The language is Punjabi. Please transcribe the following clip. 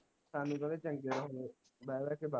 ਸਾਨੂੰ ਕਹਿੰਦੇ ਚੰਗੇ ਹੋ ਜੋ ਬਹਿ ਬਹਿ ਕੇ